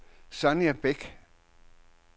Sonja Bæk